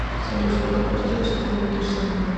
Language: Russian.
салют сколько квартир у светланы кирсановой